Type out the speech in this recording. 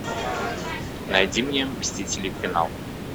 найди мне мстители финал